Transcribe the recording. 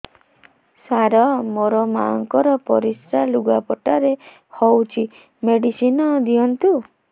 ସାର ମୋର ମାଆଙ୍କର ପରିସ୍ରା ଲୁଗାପଟା ରେ ହଉଚି ମେଡିସିନ ଦିଅନ୍ତୁ